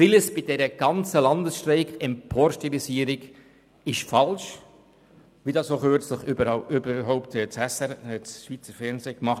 Vieles bei dieser ganzen Landesstreik-Emporstilisierung ist falsch, wie das auch kürzlich das Schweizer Fernsehen (SRF) gezeigt hat.